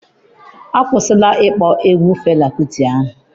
Akwụsịla ịkpọ egwu Fela Kuti ahụ.